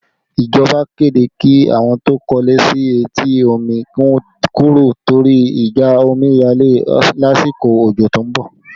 Ìjọba kéde kí àwọn tó kọ́ ilé sí etí omi ó kúrò torí ìjà omiyale lásìkò ojo tó ń bọ̀